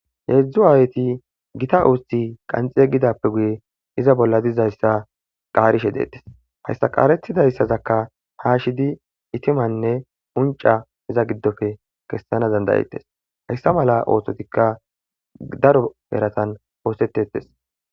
Heezzu aayethi githa uuththi qanxxi yeggidappe guye iza bolla dizayssa qaarishe deeththes;hayssa qaareththidayssazakka keeshidi ithimanne unccaa iza giddoppe kessana danddayethes;heyssa malaa oosothikka daro erathan ooseththeeththes.